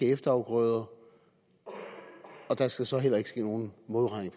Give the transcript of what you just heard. efterafgrøder og der skal så heller ikke ske nogen modregning